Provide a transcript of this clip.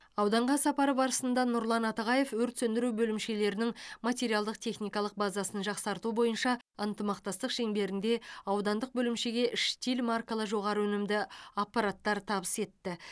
ауданға сапары барысында нұрлан атығаев өрт сөндіру бөлімшелерінің материалдық техникалық базасын жақсарту бойынша ынтымақтастық шеңберінде аудандық бөлімшеге штиль маркалы жоғары өнімді аппараттар табыс етті